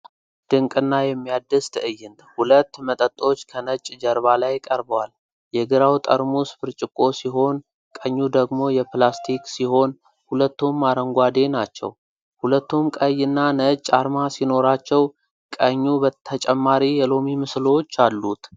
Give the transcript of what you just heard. ድንቅና የሚያድስ ትዕይንት! ሁለት መጠጦች ከነጭ ጀርባ ላይ ቀርበዋል። የግራው ጠርሙስ ብርጭቆ ሲሆን፣ ቀኙ ደግሞ የፕላስቲክ ሲሆን፣ ሁለቱም አረንጓዴ ናቸው። ሁለቱም ቀይ እና ነጭ አርማ ሲኖራቸው፣ ቀኙ ተጨማሪ የሎሚ ምስሎች አሉት።